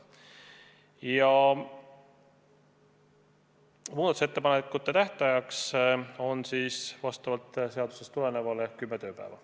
Muudatusettepanekute tähtaeg on vastavalt seadusele kümme tööpäeva.